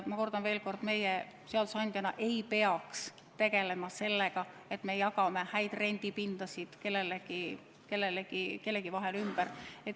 Ma kordan veel kord: meie seadusandjana ei peaks tegelema sellega, et jagame häid rendipindasid kellelegi või kellegi vahel ümber.